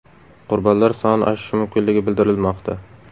Qurbonlar soni oshishi mumkinligi bildirilmoqda.